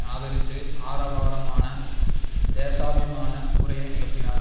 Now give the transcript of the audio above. ஆதரித்து ஆரவாரமான தேசாபிமான உரையை நிகழ்த்தினார்